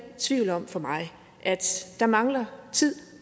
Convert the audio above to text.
tvivl om for mig at der mangler tid